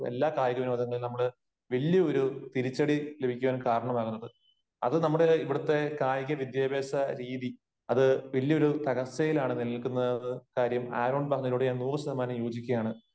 എല്ലാ കായിക വിനോദങ്ങളിലും നമ്മൾ വല്ല്യ ഒരു തിരിച്ചടി ലഭിക്കാൻ കാരണമാകുന്നത്. അത് നമ്മുടെ ഇവിടത്തെ കായിക വിദ്യാഭ്യാസ രീതി, അത് വല്ല്യ ഒരു തടസ്സയിലാണ് നിലനില്ക്കുന്നതെന്ന കാര്യം ആരോൺ പറഞ്ഞതിനോട് ഞാൻ നൂറു ശതമാനം യോജിക്കുകയാണ്.